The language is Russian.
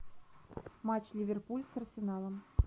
матч ливерпуль с арсеналом